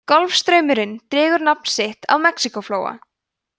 golfstraumurinn dregur nafn sitt af mexíkóflóa